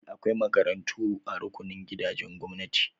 Eh, akwai makarantu a rukunin gidajen gwamnati.